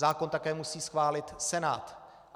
Zákon také musí schválit Senát.